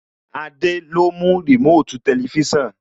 Adé ló mú Remote Tẹlifísàn